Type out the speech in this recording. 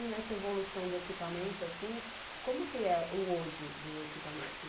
E nessa evolução do equipamento, assim como que é o hoje do equipamento?